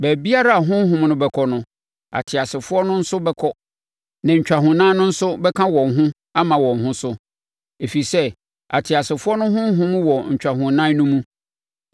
Baabiara a honhom no bɛkɔ no, ateasefoɔ no nso bɛkɔ, na ntwahonan no bɛka wɔn ho ama wɔn ho so, ɛfiri sɛ ateasefoɔ no honhom wɔ ntwahonan no mu.